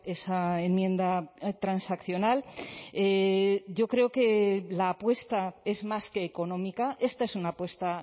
esa enmienda transaccional yo creo que la apuesta es más que económica esta es una apuesta